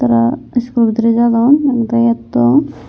tara school o bidiri jadon ek dagi etton.